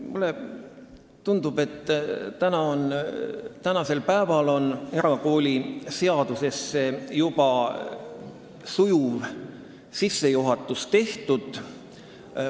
Mulle tundub, et tänasel päeval on erakooliseaduse teemasse sujuv sissejuhatus juba tehtud.